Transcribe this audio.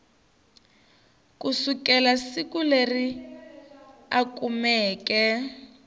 kusukela siku leri a kumeke